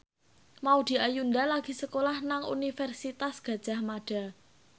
Maudy Ayunda lagi sekolah nang Universitas Gadjah Mada